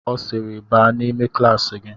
Ọ sịịrị baa n'ime klaasị gị!